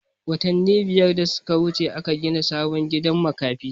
Watanin biyar da suka wuce aka gina sabon gidan makafi